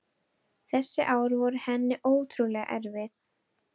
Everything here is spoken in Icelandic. Þessi ár voru henni ótrúlega erfið.